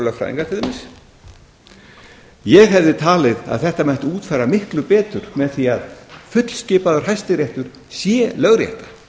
vera lögfræðingar ég hefði talið að þetta mætti útfæra miklu betur með því að fullskipaður hæstiréttur sé lögrétta